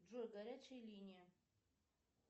джой горячая линия